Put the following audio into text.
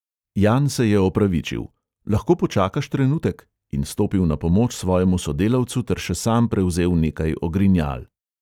Jan se je opravičil: "lahko počakaš trenutek?" in stopil na pomoč svojemu sodelavcu ter še sam prevzel nekaj ogrinjal.